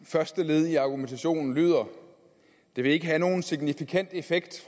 i første led i argumentationen lyder det vil ikke have nogen signifikant effekt